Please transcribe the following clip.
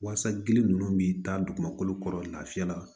Walasa gili ninnu bɛ taa dugumakolo kɔrɔ lafiya la